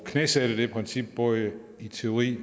knæsætte det princip både i teori